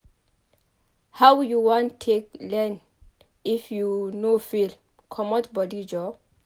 How you wan take learn if you no fail comot bodi joor.